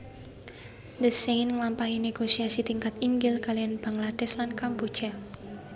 Thein Sein nglampahi négosiasi tingkat inggil kaliyan Bangladesh lan Kamboja